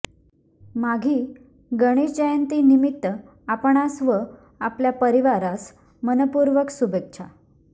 माघी गणेश जयंती निमित्त आपणास व आपल्या परिवारास मनःपूर्वक शुभेच्छा